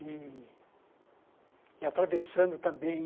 E e atravessando também